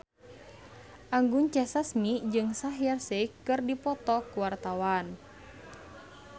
Anggun C. Sasmi jeung Shaheer Sheikh keur dipoto ku wartawan